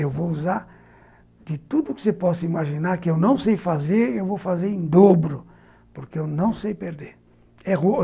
Eu vou usar de tudo que você possa imaginar, que eu não sei fazer, eu vou fazer em dobro, porque eu não sei perder.